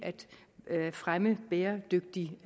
at fremme bæredygtigt